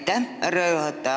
Aitäh, härra juhataja!